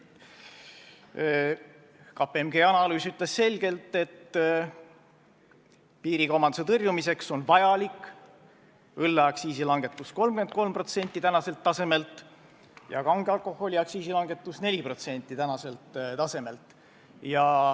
KPMG analüüs ütles selgelt, et piirikaubanduse tõrjumiseks on vajalik õlleaktsiisi langetus 33% tänaselt tasemelt ja kange alkoholi aktsiisi langetus 4% tänaselt tasemelt.